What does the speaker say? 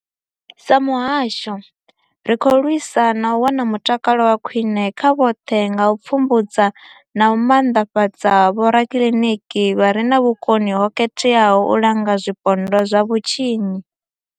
Sa muhasho, ri khou lwisa u wana mutakalo wa khwine kha vhoṱhe nga u pfumbudza na u maanḓafhadza vhorakiliniki vha re na vhukoni ho khetheaho u langa zwipondwa zwa vhutshinyi.